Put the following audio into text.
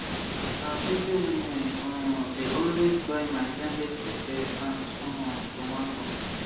na busy women um de always buy my blended pepe and um tomato